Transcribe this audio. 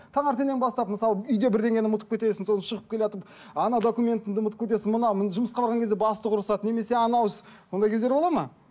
таңертеңнен бастап мысалы үйде бірдеңені ұмытып кетесің сосын шығып келатып анау документіңді ұмытып кетесің мына жұмысқа барған кезде бастық ұрысады немесе анау іс ондай кездер болады ма